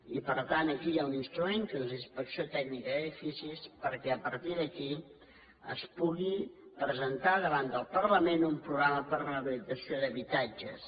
i per tant aquí hi ha un instrument que és la inspecció tècnica dels edificis perquè a partir d’aquí es pugui presentar davant del parlament un programa per a la rehabilitació d’habitatges